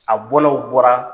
A bɔnaw bɔra